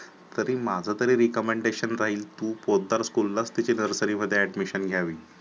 तरी माझा तरी Recomedation राहील, तू पोतदार school लाच तीच nursary मध्ये admission घ्यावे.